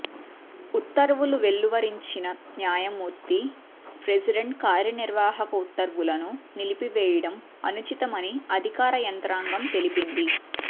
ఉత్తర్వు లు వెలువరించిన న్యాయమూర్తి ప్రెసిడెంట్ కార్యనిర్వాహక ఉత్తర్వులను నిలిపివేయడం అనుచితం అని అధికార యంత్రాంగం తెలిపింది